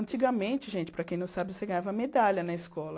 Antigamente, gente, para quem não sabe, você ganhava medalha na escola.